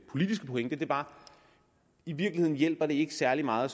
politiske pointe var i virkeligheden hjælper det ikke særlig meget